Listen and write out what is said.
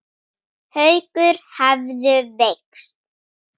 Haukur hefðu veikst.